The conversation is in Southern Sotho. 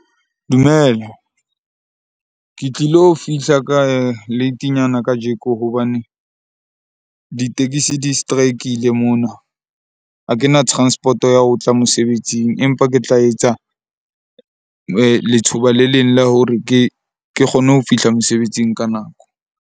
Dumela, ke tlilo fihla ka latenyana kajeko hobane ditekesi di strikile mona. Ha ke na transport ya ho tla mosebetsing, empa ke tla etsa lethuba le leng la hore ke kgone ho fihla mosebetsing ka nako.